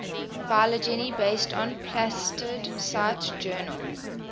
phylogeny based on plastid cite journal